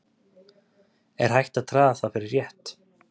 Er hægt að draga það fyrir rétt?